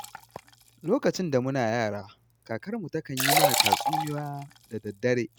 Lokacin da muna yara, kakarmu takan yi mana tatsuniya da daddare.